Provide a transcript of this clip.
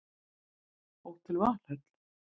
Hótel Valhöll